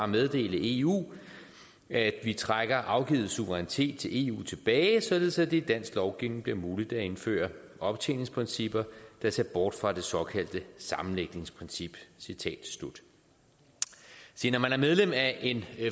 meddele eu at vi trækker afgivet suverænitet til eu tilbage således at det i dansk lovgivning bliver muligt at indføre optjeningsprincipper der ser bort fra det såkaldte sammenlægningsprincip citat slut når man er medlem af en